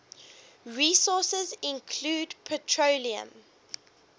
resources include petroleum